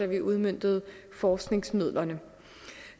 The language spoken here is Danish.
vi udmøntede forskningsmidlerne